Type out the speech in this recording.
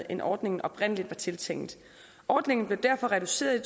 end ordningen oprindelig var tiltænkt ordningen blev derfor reduceret i